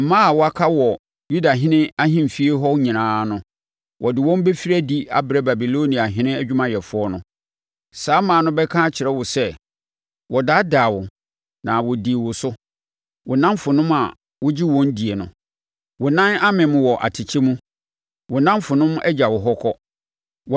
Mmaa a wɔaka wɔ Yudahene ahemfie hɔ nyinaa no, wɔde wɔn bɛfiri adi abrɛ Babiloniahene adwumayɛfoɔ no. Saa mmaa no bɛka akyerɛ wo sɛ, “ ‘Wɔdaadaa wo na wɔdii wo so wo nnamfonom a wogye wɔn die no. Wo nan amem wɔ atɛkyɛ mu; wo nnamfonom agya wo hɔ kɔ.’